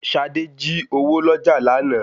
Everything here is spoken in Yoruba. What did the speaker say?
Ṣadé jí owó lọ́jà lánàá